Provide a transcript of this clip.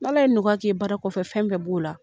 N'Ala ye nɔgɔya k'i ye baara kɔfɛ fɛn bɛɛ b'o la.